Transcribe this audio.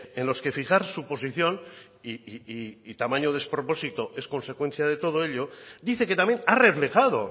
en los que fijar su posición y tamaño despropósito es consecuencia de todo ello dice que también ha reflejado